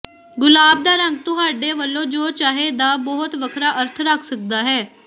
ਗੁਲਾਬ ਦਾ ਰੰਗ ਤੁਹਾਡੇ ਵੱਲੋਂ ਜੋ ਚਾਹੇ ਦਾ ਬਹੁਤ ਵੱਖਰਾ ਅਰਥ ਰੱਖ ਸਕਦਾ ਹੈ